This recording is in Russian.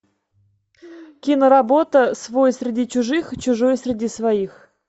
киноработа свой среди чужих чужой среди своих